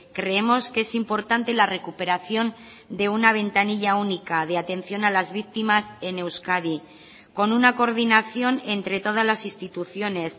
creemos que es importante la recuperación de una ventanilla única de atención a las víctimas en euskadi con una coordinación entre todas las instituciones